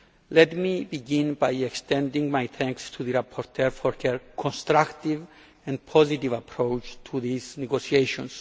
Let me begin by extending my thanks to the rapporteur for her constructive and positive approach to these negotiations.